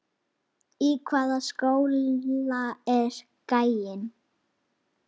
Í hvaða skóla er gæinn?